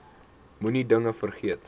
moenie dinge vergeet